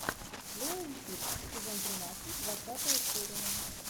лео и тиг сезон тринадцать двадцатая серия